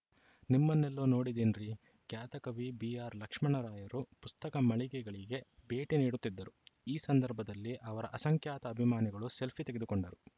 ನಿಮ್ಮನ್ನೆಲ್ಲೋ ನೋಡಿದ್ದೀನ್ರೀ ಖ್ಯಾತ ಕವಿ ಬಿಆರ್‌ಲಕ್ಷ್ಮಣರಾಯರು ಪುಸ್ತಕ ಮಳಿಗೆಗಳಿಗೆ ಭೇಟಿ ನೀಡುತ್ತಿದ್ದರು ಈ ಸಂದರ್ಭದಲ್ಲಿ ಅವರ ಅಸಂಖ್ಯಾತ ಅಭಿಮಾನಿಗಳು ಸೆಲ್ಫಿ ತೆಗೆದುಕೊಂಡರು